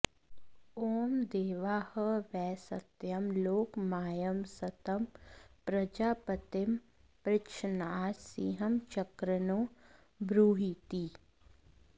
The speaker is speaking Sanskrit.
ॐ देवा ह वै सत्यं लोकमायंस्तं प्रजापतिमपृच्छन्नारसिंहचक्रन्नो ब्रूहीति